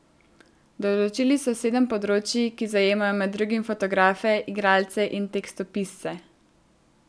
Določili so sedem področij, ki zajemajo med drugim fotografe, igralce in tekstopisce.